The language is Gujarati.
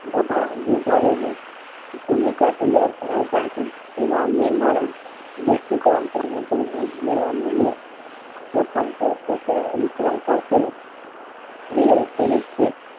રંભા દૂધવાળી ની ભૂમિકા તૈયાર કરાવતા હતા તેમાં મેં મારો દૃષ્ટિકોણ ક્રમે ક્રમે ઉમેરવા માંડ્યો પ્રથમ તો સસરા વિક્રમ સાથે સ્ત્રીચરિત્ર છે